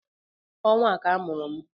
Ọnwa a ka a mụrụ m